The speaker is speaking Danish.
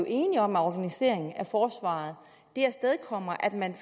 enige om af organisering af forsvaret afstedkommer at man